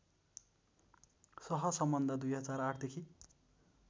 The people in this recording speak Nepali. सहसम्बन्ध २००८ देखि